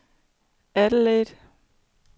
Adelaide